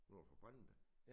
Nord for Brande?